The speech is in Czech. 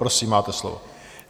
Prosím, máte slovo.